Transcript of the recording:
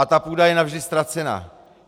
A ta půda je navždy ztracena.